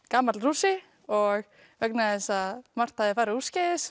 gamall Rússi og vegna þess að margt hafði farið úrskeiðis